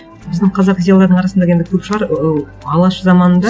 біздің қазақ зиялылардың арасында енді көп шығар ыыы алаш заманында